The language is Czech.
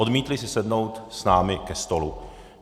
Odmítli si sednout s námi ke stolu.